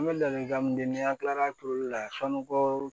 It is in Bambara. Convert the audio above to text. An bɛ ladilikan mun di n'an kilala turuli la sanukɔrɔ